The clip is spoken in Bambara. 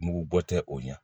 Mugu bɔ tɛ o ɲɛ